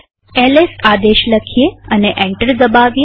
LS આદેશ લખીએ અને એન્ટર દબાવીએ